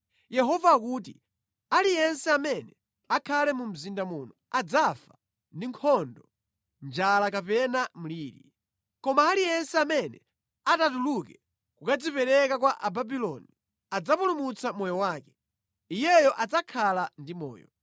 “Yehova akuti, ‘Aliyense amene akhale mu mzinda muno adzafa ndi nkhondo njala kapena mliri. Koma aliyense amene atatuluke kukadzipereka kwa Ababuloni adzapulumutsa moyo wake; iyeyo adzakhala ndi moyo.